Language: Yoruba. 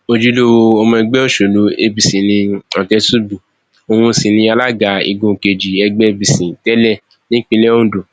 ojúlówó ọmọ ẹgbẹ òsèlú apc ni ọtẹtùbí òun sì ni alága igun kejì ẹgbẹ apc tẹlẹ nípínlẹ ondo